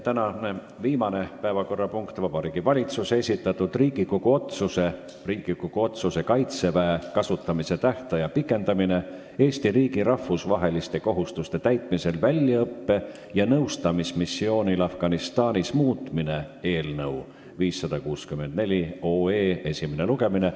Tänane viimane päevakorrapunkt on Vabariigi Valitsuse esitatud Riigikogu otsuse "Riigikogu otsuse "Kaitseväe kasutamise tähtaja pikendamine Eesti riigi rahvusvaheliste kohustuste täitmisel väljaõppe- ja nõustamismissioonil Afganistanis" muutmine" eelnõu 564 esimene lugemine.